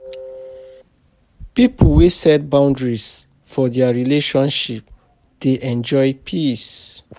Pipo we set boundaries for their relationship dey enjoy peace.